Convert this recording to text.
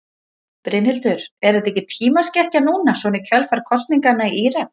Brynhildur: Er þetta ekki tímaskekkja núna svona í kjölfar kosninganna í Írak?